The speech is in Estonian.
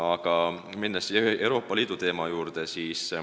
Aga lähen nüüd Euroopa Liidu teema juurde.